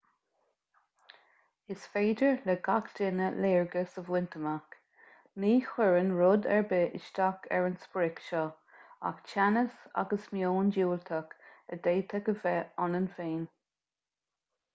is féidir le gach duine léargas a bhaint amach ní chuireann rud ar bith isteach ar an sprioc seo ach teannas agus meon diúltach a d'fhéadfadh a bheith ionainn féin